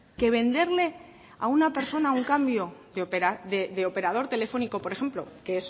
que venderle a una personas un cambio de operador telefónico por ejemplo que